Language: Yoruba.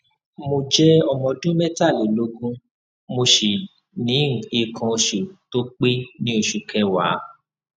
mo jẹ ọmọ ọdún mẹtàlélógún mo si ni ikan osu to pe ni osu keewa